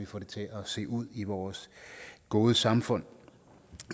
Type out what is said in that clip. få det til at se ud i vores gode samfund